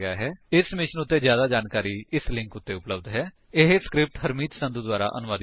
ਇਸ ਮਿਸ਼ਨ ਬਾਰੇ ਜਿਆਦਾ ਜਾਣਕਾਰੀ ਇਸ ਲਿੰਕ ਉੱਤੇ ਉਪਲੱਬਧ ਹੈ httpspoken tutorialorgNMEICT Intro ਇਹ ਸਕਰਿਪਟ ਹਰਮੀਤ ਸੰਧੂ ਦੁਆਰਾ ਅਨੁਵਾਦਿਤ ਹੈ